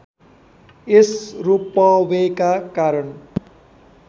यस रोपवेका कारण